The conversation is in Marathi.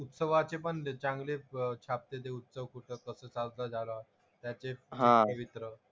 उत्सवाचे पण चांगले प छापते ते उत्सव कुठं कसं चालतं झाला. त्याचे